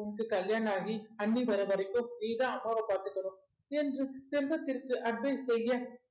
உனக்கு கல்யாணம் ஆகி அண்ணி வரவரைக்கும் நீதான் அப்பாவை பார்த்துக்கணும் என்று செல்வத்திற்கு advice செய்ய